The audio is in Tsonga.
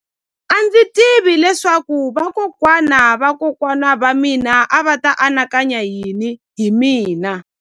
A ndzi tivi leswaku vakokwana-va-vakokwana va mina a va ta anakanya yini hi mina.